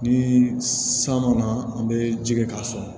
Ni san mana an bɛ ji kɛ k'a sɔn